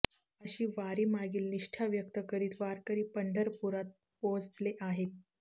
अशी वारीमागील निष्ठा व्यक्त करीत वारकरी पंढरपुरात पोहचले आहेत